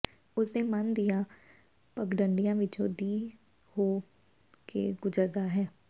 ਉਸਦੇ ਮਨ ਦੀਆਂ ਪਗਡੰਡੀਆਂ ਵਿਚੋਂ ਦੀ ਹੋ ਕੇ ਗੁਜਰਦਾ ਹੈ